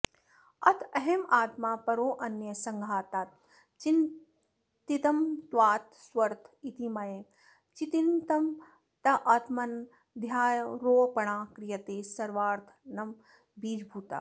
अथाहमात्मा परोऽन्यः संघातात् चितिमत्त्वात् स्वर्थ इति मयैव चितिमतात्मन्यध्यारोपणा क्रियते सर्वानर्थबीजभूता